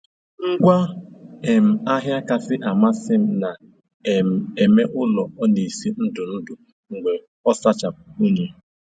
Ngwa um ahịa kasị amasị m na - um eme ụlọ ọ na-esi ndụ ndụ mgbe ọ sachapụ unyi